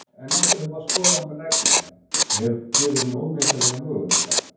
En eftir að hafa skoðað hana rækilega gefur hún óteljandi möguleika.